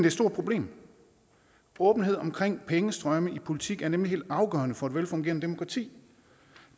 et stort problem åbenhed omkring pengestrømme i politik er nemlig helt afgørende for et velfungerende demokrati